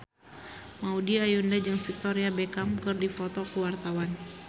Maudy Ayunda jeung Victoria Beckham keur dipoto ku wartawan